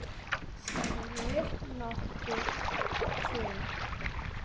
Sérðu nokkuð til?